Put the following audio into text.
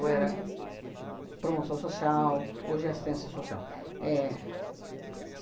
era promoção social, hoje é assistência social. É